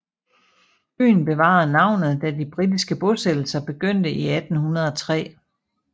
Øen bevarede navnet da de britiske bosættelser begyndte i 1803